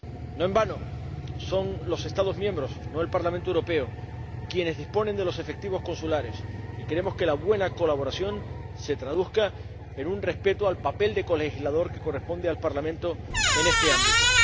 No en vano son los Estados miembros, no el Parlamento Europeo, quienes disponen de los efectivos consulares, y queremos que la buena colaboración se traduzca en un respeto al papel de colegislador que corresponde al Parlamento en este ámbito.